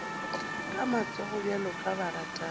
ka matsogo bjalo ka baratani